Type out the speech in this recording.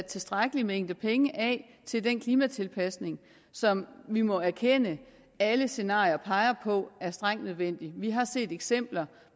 tilstrækkelig mængde penge af til den klimatilpasning som vi må erkende at alle scenarier peger på er strengt nødvendig vi har set eksempler